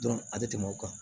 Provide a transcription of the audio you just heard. a bɛ tɛmɛ o kan